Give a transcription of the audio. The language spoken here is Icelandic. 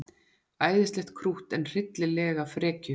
Æðislegt krútt en hryllilega frekju.